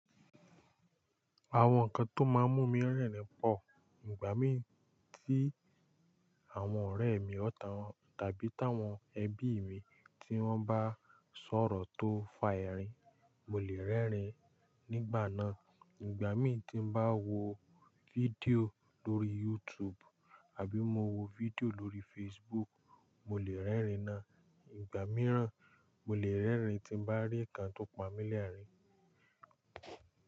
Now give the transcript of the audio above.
Àwọn nǹkan tó máa ń mú mi rẹ́rìn-ín pọ̀, ìgbà mí tí àwọn ọ̀rẹ́ mi ọ̀tán tàbí táwọn ẹbí mi tí wọ́n bá sọ̀rọ̀ tó fa ẹ̀rín, mo lè rẹ́rìn-ín nígbà náà. Ìgbà mí tí mo bá ń wo fídíò lórí YouTube àbí mo wo fídíò lórí Facebook, mo lè rẹ́rìn-ín náà. Ìgbà mìíràn, mo lè rẹ́rìn-ín tí m bá rí nǹkan tó pamí lẹ́ẹ̀rín.